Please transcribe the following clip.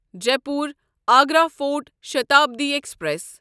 Jaipur Agra fort Shatabdi express